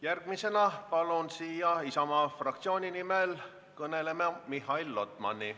Järgmisena palun siia Isamaa fraktsiooni nimel kõnelema Mihhail Lotmani.